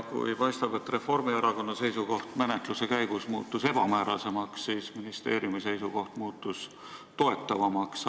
Paistab, et kui Reformierakonna seisukoht muutus menetluse käigus ebamäärasemaks, siis ministeeriumi seisukoht muutus toetavamaks.